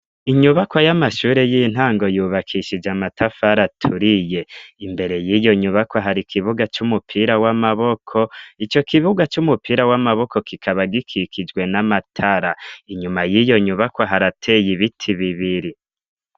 Inyubakwa y'amashuri y'intango yubakish'amatafar'aturiye ,imbere y'iyo nyubakwa har' kibuga c'umupira w'amaboko ico kibuga c'umupira w'amaboko kikaba gikikijwe n'amatara inyuma y'iyo nyubakwa haratey' ibiti bibiri